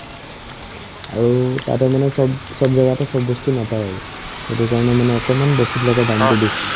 আৰু তাতে মানে চব চব জাগাতে চব বস্তু নাপাই আৰু সেইটোৰ কাৰণে মানে অকনমান বস্তুবিলাকৰ দামতো বেছি